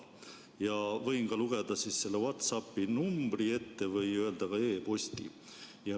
Ma võin ka selle WhatsApp'i numbri ette lugeda või öelda e-posti.